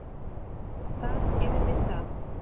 Það yrði það.